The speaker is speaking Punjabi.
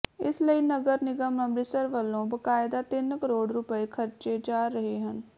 ਇਸ ਲਈ ਨਗਰ ਨਿਗਮ ਅੰਮ੍ਰਿਤਸਰ ਵੱਲੋਂ ਬਕਾਇਦਾ ਤਿੰਨ ਕਰੋੜ ਰੁਪਏ ਖਰਚੇ ਜਾ ਰਹੇ ਹਨ